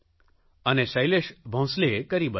અને શૈલેષ ભોંસલેએ કરી બતાવ્યું